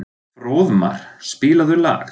Fróðmar, spilaðu lag.